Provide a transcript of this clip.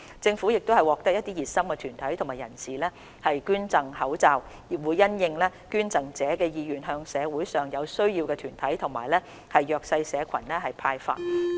政府亦獲得一些熱心團體和人士捐贈口罩，會因應捐贈者的意願向社會上有需要的團體及弱勢社群派發。